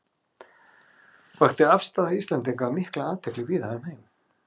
Vakti afstaða Íslendinga mikla athygli víða um heim.